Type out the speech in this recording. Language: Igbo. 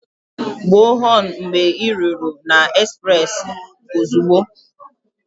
Gbuo họnụ mgbe ị ruru na ezprezị ozugbo!